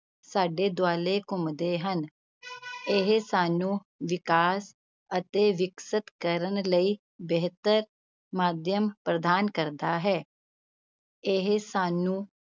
ਸਾਡੇ ਦੁਆਲੇ ਘੁੰਮਦੇ ਹਨ ਇਹ ਸਾਨੂੰ ਵਿਕਾਸ ਅਤੇ ਵਿਕਸਤ ਕਰਨ ਲਈ ਬਿਹਤਰ ਮਾਧਿਅਮ ਪ੍ਰਦਾਨ ਕਰਦੇ ਹੈ ਇਹ ਸਾਨੂੰ